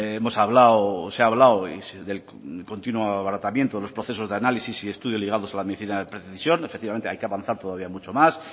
hemos hablado se ha hablado del continuo abaratamiento de los procesos de análisis y estudios ligados a la medicina de precisión efectivamente hay que avanzar todavía mucho más